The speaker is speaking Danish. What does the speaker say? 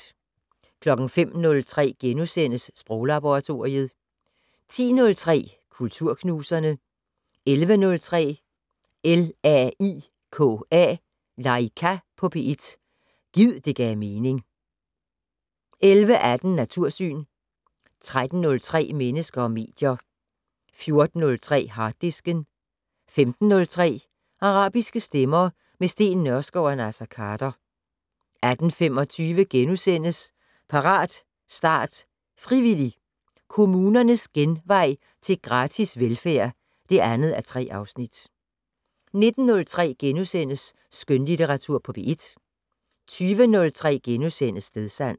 05:03: Sproglaboratoriet * 10:03: Kulturknuserne 11:03: LAIKA på P1 - gid det gav mening 11:18: Natursyn 13:03: Mennesker og medier 14:03: Harddisken 15:03: Arabiske stemmer - med Steen Nørskov og Naser Khader 18:25: Parat, start, frivillig! - Kommunernes genvej til gratis velfærd (2:3)* 19:03: Skønlitteratur på P1 * 20:03: Stedsans *